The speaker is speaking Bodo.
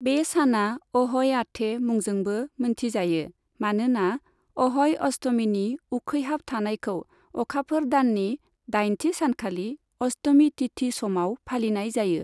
बे साना अह'य आथे मुंजोंबो मोनथिजायो, मानोना अह'य अष्टमीनि उखैहाब थानायखौ अखाफोर दाननि दाइनथि सानखालि अष्टमी तिथि समाव फालिनाय जायो।